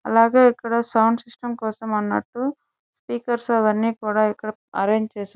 అలాగే ఇక్కడ sound system కోసం అన్నట్టు స్పీకర్స్ అవన్నీ కూడా ఇక్కడ అరేంజ్ చేసారు.